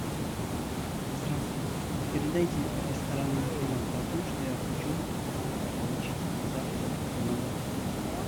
здравствуйте передайте ресторану информацию о том что я хочу получить завтрак в номер